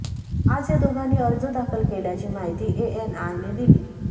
आज या दोघांनी अर्ज दाखल केल्याची माहिती एएनआयने दिली